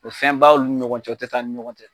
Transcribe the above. O ye fɛnba ye olu ni ɲɔgɔn cɛ tɛ taa ni ɲɔgɔn cɛ